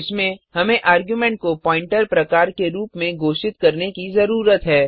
इसमें हमें आर्गुमेंट को प्वॉइंटर प्रकार के रूप में घोषित करने की जरूरत है